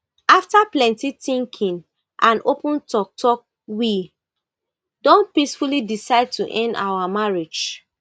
afta plenti tinking and open toktok we don peacefully decide to end our marriage